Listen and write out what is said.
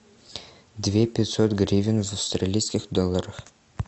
две пятьсот гривен в австралийских долларах